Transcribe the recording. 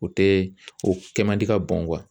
O tɛ o kɛ man di ka bɔn